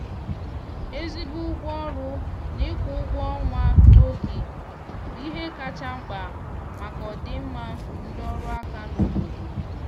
ezigbo ụgwọ ọrụ na ịkwụ ụgwọ ọnwa na oge bụ ihe kacha mkpa maka ọdịmma ndị ọrụ aka n' obodo